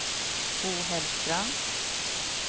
Bo Hellström